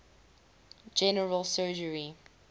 general surgery